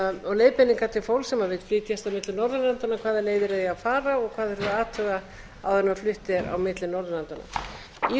vill flytjast á milli norðurlandanna hvaða leiðir það eigi að fara og hvað þurfi a athuga áður en flutt er á milli norðurlandanna í